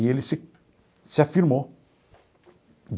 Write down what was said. E ele se se afirmou.